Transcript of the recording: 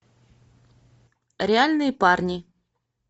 реальные парни